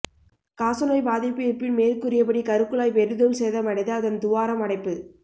காச நோய் பாதிப்பு இருப்பின் மேற்கூறியபடி கருக்குழாய் பெரிதும் சேதமடைந்து அதன் துவாரம் அடைப்பு